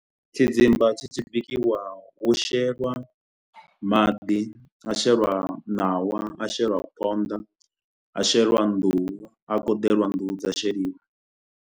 Tshidzimba tshi tshi bikiwa hu shelwa maḓi, ha shelwa ṋawa, ha shelwa phonḓa, ha shelwa nḓuhu. Ha koḓeliwa nḓuhu dza sheliwa.